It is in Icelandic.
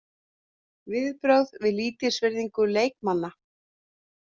Viðbrögð við lítilsvirðingu leikmanna?